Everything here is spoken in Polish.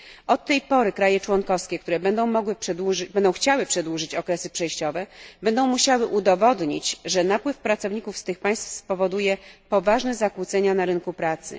Od tej pory kraje członkowskie, które będą chciały przedłużyć okresy przejściowe, będą musiały udowodnić, że napływ pracowników z tych państw spowoduje poważne zakłócenia na rynku pracy.